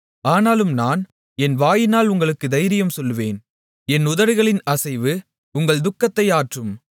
ஆனாலும் நான் என் வாயினால் உங்களுக்கு தைரியம் சொல்லுவேன் என் உதடுகளின் அசைவு உங்கள் துக்கத்தை ஆற்றும்